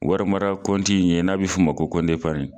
Warimara kɔnti in ye n'a bɛ fɔ ma ko kɔnti eprni.